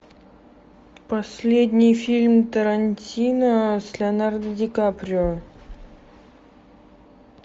последний фильм тарантино с леонардо ди каприо